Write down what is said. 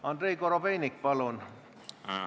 Andrei Korobeinik, palun!